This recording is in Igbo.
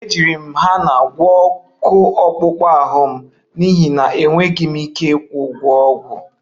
Ejiri m hena gwọọ ọkụ akpụkpọ ahụ m n'ihi na enweghị m ike ịkwụ ụgwọ ọgwụ